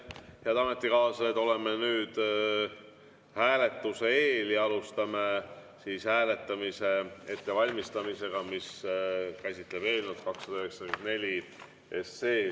Head ametikaaslased, oleme nüüd hääletuse eel ja alustame eelnõu 294 hääletamise ettevalmistamist.